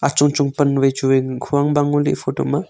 chong chong pan wai chu wai hu ang bang ngo ley e photo ma.